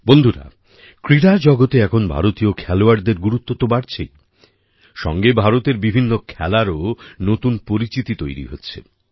বন্ধুরা ক্রীড়া জগতে এখন ভারতীয় খেলোয়াড়দের গুরুত্ব তো বাড়ছেই সঙ্গে ভারতের বিভিন্ন খেলারও নতুন পরিচিতি তৈরি হচ্ছে